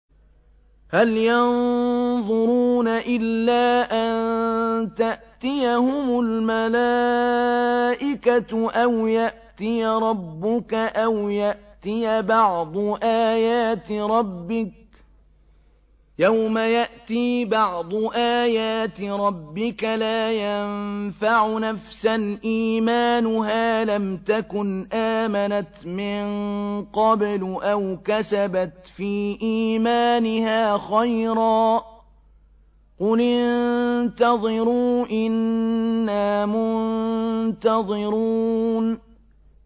هَلْ يَنظُرُونَ إِلَّا أَن تَأْتِيَهُمُ الْمَلَائِكَةُ أَوْ يَأْتِيَ رَبُّكَ أَوْ يَأْتِيَ بَعْضُ آيَاتِ رَبِّكَ ۗ يَوْمَ يَأْتِي بَعْضُ آيَاتِ رَبِّكَ لَا يَنفَعُ نَفْسًا إِيمَانُهَا لَمْ تَكُنْ آمَنَتْ مِن قَبْلُ أَوْ كَسَبَتْ فِي إِيمَانِهَا خَيْرًا ۗ قُلِ انتَظِرُوا إِنَّا مُنتَظِرُونَ